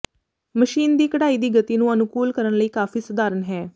machine ਦੀ ਕਢਾਈ ਦੀ ਗਤੀ ਨੂੰ ਅਨੁਕੂਲ ਕਰਨ ਲਈ ਕਾਫ਼ੀ ਸਧਾਰਨ ਹੈ